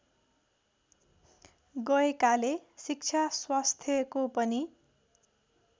गएकाले शिक्षा स्वास्थ्यको पनि